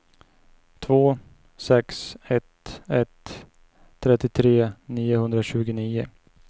två sex ett ett trettiotre niohundratjugonio